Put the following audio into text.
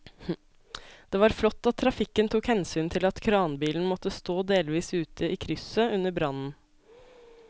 Det var flott at trafikken tok hensyn til at kranbilen måtte stå delvis ute i krysset under brannen.